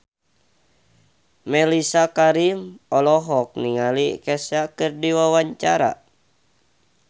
Mellisa Karim olohok ningali Kesha keur diwawancara